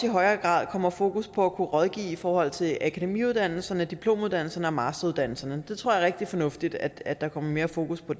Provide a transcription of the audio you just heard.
i højere grad kommer fokus på at kunne rådgive i forhold til akademiuddannelserne diplomuddannelserne og masteruddannelserne det tror jeg er rigtig fornuftigt at der kommer mere fokus på